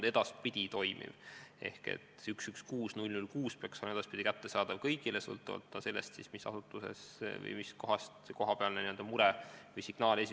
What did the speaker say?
See 116 006 peaks olema kättesaadav kõigile, sõltumata sellest, mis asutusest või kust kohast mure või signaal tuleb.